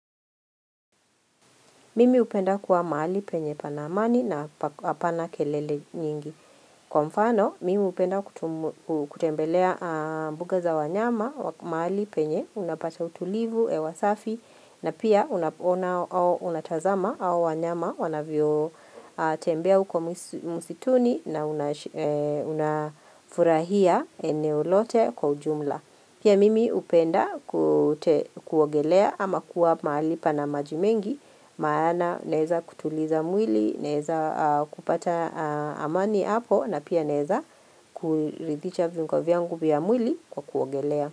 Mimi upenda kuwa mahali penye pana amani na apana kelele nyingi. Kwa mfano, mimi upenda kutembelea mbuga za wanyama, mahali penye, unapata utulivu, hewasafi, na pia unatazama hao wanyama wanavyo tembea uko musituni na unafurahia eneo lote kwa ujumla. Pia mimi upenda kuogelea ama kuwa mahali pana maji mengi, maana naeza kutuliza mwili, naeza kupata amani hapo na pia naeza kulidhicha viungo vyangu vya mwili kwa kuogelea.